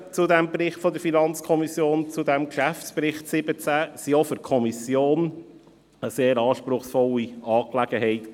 Die Arbeiten der FiKo zum Geschäftsbericht 2017 waren auch für die Kommission eine sehr anspruchsvolle Angelegenheit.